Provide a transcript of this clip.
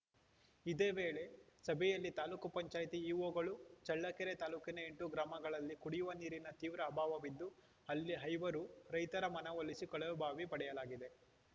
ಇದೇ ವೇಳೆ ಸಭೆಯಲ್ಲಿ ತಾಲೂಕ್ ಪಂಚಾಯತಿ ಇಒಗಳು ಚಳ್ಳಕೆರೆ ತಾಲೂಕಿನ ಎಂಟು ಗ್ರಾಮಗಳಲ್ಲಿ ಕುಡಿಯುವ ನೀರಿನ ತೀವ್ರ ಅಭಾವವಿದ್ದು ಅಲ್ಲಿ ಐವರು ರೈತರ ಮನವೊಲಿಸಿ ಕೊಳವೆ ಬಾವಿ ಪಡೆಯಲಾಗಿದೆ